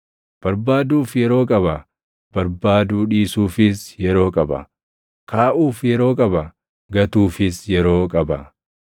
barbaaduuf yeroo qaba; barbaaduu dhiisuufis yeroo qaba; kaaʼuuf yeroo qaba; gatuufis yeroo qaba;